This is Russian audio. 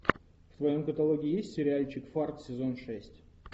в твоем каталоге есть сериальчик фарт сезон шесть